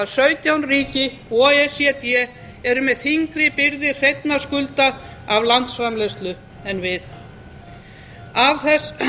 að sautján ríki o e c d eru með þyngri byrði hreinna skulda af landsframleiðslu en við að